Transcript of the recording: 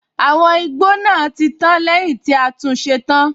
Àwọn igbó náà tí tán lẹ́yìn tí a tún ṣe tán.